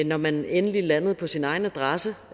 når man endelig landede på sin egen adresse